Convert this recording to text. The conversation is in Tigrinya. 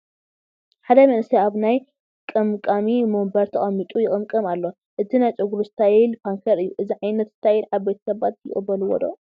ሓደ መንእሰይ ኣብ ናይ ቀምቃሚ ወንበር ተቐሚጡ ይቕምቀም ኣሎ፡፡ እቲ ናይ ጨጉሩ ስታይል ፓንከር እዩ፡፡ እዚ ዓይነት ስታይል ዓበይቲ ሰባት ይቕበልዎ ዶ?